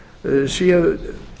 fiskveiðisamningar séu